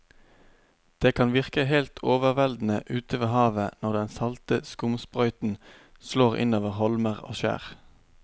Det kan virke helt overveldende ute ved havet når den salte skumsprøyten slår innover holmer og skjær.